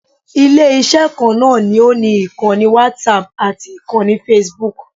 Ilé-iṣẹ́ kan náà ni ó ni ìkannì whatapp ati ìkanni facebook